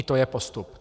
I to je postup.